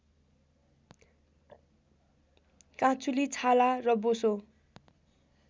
काँचुली छाला र बोसो